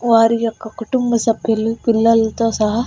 వారి యొక్క కుటుంబ సభ్యులు పిల్లలతో సహా--